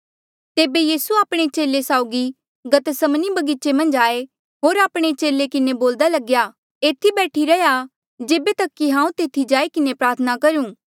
तेबे यीसू आपणे चेले साउगी गतसमनी बगीचे मन्झ आये होर आपणे चेले किन्हें बोल्दा लग्या एथी बैठी रैहया जेबे तक कि हांऊँ तेथी जाई किन्हें प्रार्थना करूं